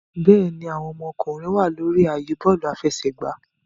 Bẹẹni, awọn ọmọkunrin wa lori ààyè bọọlu afẹsẹgba